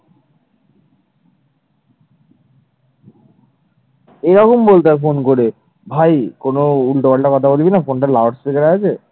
এরকম বলতে হবে phone করে, ভাই কোন উল্টোপাল্টা কথা বলবি না phone loudspeaker এ আছে।